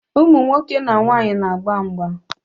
Ụmụnwoke na nwaanyi na-agba mgba